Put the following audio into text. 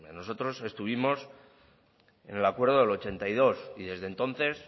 nosotros estuvimos en el acuerdo del ochenta y dos y desde entonces